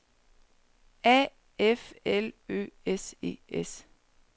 A F L Ø S E S